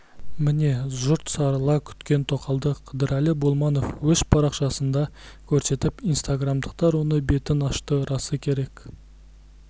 міне жұрт сарыла күткен тоқалды қыдырәлі болманов өз парақшасында көрсетіп инстаграмдықтар оның бетін ашты расы керек